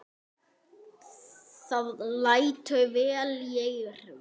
Það lætur vel í eyrum.